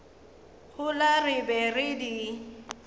gola re be re di